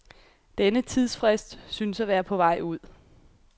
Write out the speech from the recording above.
Denne tidsfrist synes at være på vej ud.